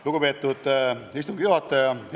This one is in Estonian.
Lugupeetud istungi juhataja!